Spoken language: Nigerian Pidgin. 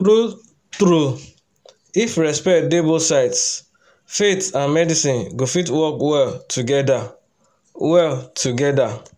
true-true if respect dey both sides faith and medicine go fit work well together. well together.